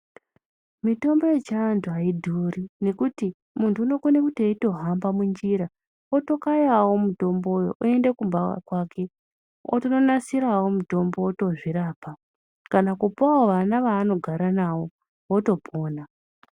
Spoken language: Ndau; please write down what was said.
Mitombo yechiantu aidhuri. Ngekuti muntu unokona kuti eitohamba munjira otokayawo mutombo yo oenda kumba kwake otondonasirawo mutombo otozvirapa. Kana kupawo vana vaanogara navo votopona.